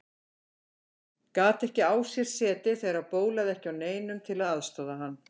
Gat ekki á sér setið þegar það bólaði ekki á neinum til að aðstoða hann.